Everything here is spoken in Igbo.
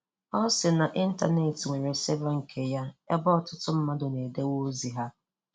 Ọ sị na Intanet nwere 'server' nke ya ebe ọtụtụ mmadụ na-edowe ọzi ha